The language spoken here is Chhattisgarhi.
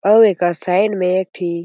अउ एकर साइड में एक ठी--